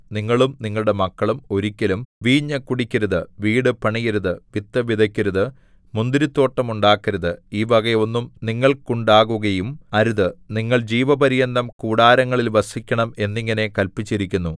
നിങ്ങളും നിങ്ങളുടെ മക്കളും ഒരിക്കലും വീഞ്ഞു കുടിക്കരുത് വീടു പണിയരുത് വിത്ത് വിതയ്ക്കരുത് മുന്തിരിത്തോട്ടം ഉണ്ടാക്കരുത് ഈ വക ഒന്നും നിങ്ങൾക്കുണ്ടാകുകയും അരുത് നിങ്ങൾ ജീവപര്യന്തം കൂടാരങ്ങളിൽ വസിക്കണം എന്നിങ്ങനെ കല്പിച്ചിരിക്കുന്നു